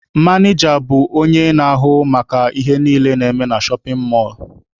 Manịja bụ onye na-ahụ maka ihe niile na-eme na shọpin mọlụ.